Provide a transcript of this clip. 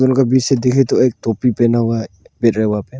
कभी से देखे तो एक टोपी पहना हुआ है पेर है वहां पे--